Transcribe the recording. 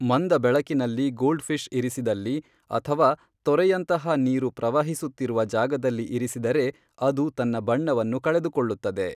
ಮಂದ ಬೆಳಕಿನಲ್ಲಿ goldfish ಇರಿಸಿದಲ್ಲಿ ಅಥವಾ ತೊರೆಯಂತಹಾ ನೀರು ಪ್ರವಹಿಸುತ್ತಿರುವ ಜಾಗದಲ್ಲಿ ಇರಿಸಿದರೆ ಅದು ತನ್ನ ಬಣ್ಣವನ್ನು ಕಳೆದುಕೊಳ್ಳುತ್ತದೆ